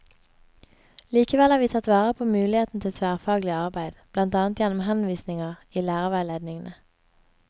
Likevel har vi tatt vare på muligheten til tverrfaglig arbeid, blant annet gjennom henvisninger i lærerveiledningene.